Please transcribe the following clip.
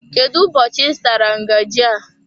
Kedụ ụbọchị I zụtara ngaji a?